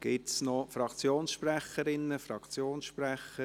Gibt es noch Fraktionssprecherinnen/Fraktionssprecher?